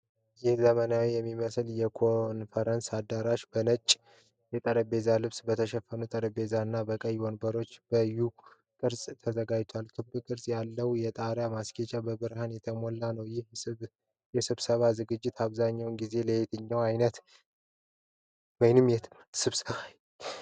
ይህ ዘመናዊ የሚመስል የኮንፈረንስ አዳራሽ በነጭ የጠረጴዛ ልብስ በተሸፈኑ ጠረጴዛዎች እና በቀይ ወንበሮች በ'U' ቅርጽ ተዘጋጅቷል። ክብ ቅርጽ ያለው የጣሪያ ማስጌጥ በብርሃን የተሞላ ነው። ይህ የስብሰባ ዝግጅት አብዛኛውን ጊዜ ለየትኛው ዓይነት ኦፊሴላዊ ወይም ትምህርታዊ ስብሰባ ይመረጣል?